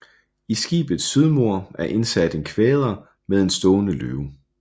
I skibets sydmur er indsat en kvader med en stående løve